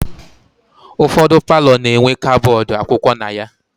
Ụfọdụ paalọ na-enwe kabọọdụ akwụkwọ na ya.